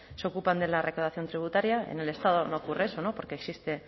se ocupan de la recaudación tributaria en el estado no ocurre eso no porque existe